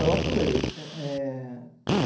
Eu atuei. É...